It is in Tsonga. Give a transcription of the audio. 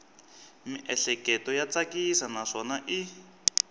miehleketo ya tsakisa naswona i